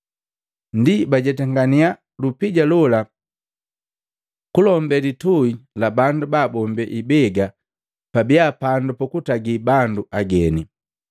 Ndi bajetangania lupija lola kulombe litui la bandu baabombe ibega pabia pandu pukutagi bandu ageni.